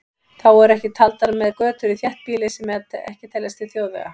Þá eru ekki taldar með götur í þéttbýli sem ekki teljast til þjóðvega.